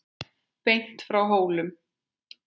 Beint frá Hólum.